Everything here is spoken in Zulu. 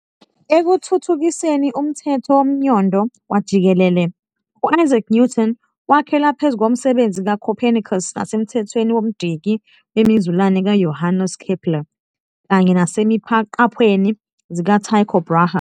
Ekuthuthukiseni umthetho womnyondo wajikelele, u-Isaac Newton wakhela phezu komsebenzi ka-Copernicus nasemthethweni womdiki wemizulane kaJohannes Keppler kanye naseziqaphweni zikaTycho Brahe.